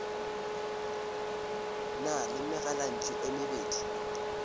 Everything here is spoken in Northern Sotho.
na le megalantšu e mebedi